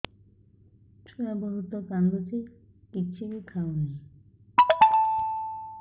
ଛୁଆ ବହୁତ୍ କାନ୍ଦୁଚି କିଛିବି ଖାଉନି